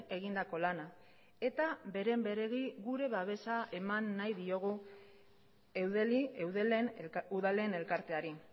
egindako lana eta beren beregi gure babesa eman nahi diogu eudeli eudelen udalen elkarteari